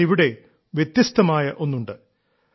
എന്നാൽ ഇവിടെ വ്യത്യസ്തമായ ഒന്നുണ്ട്